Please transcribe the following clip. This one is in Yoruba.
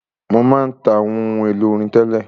Mo má ń ta àwọn ohun èlò orin tẹ́lẹ̀.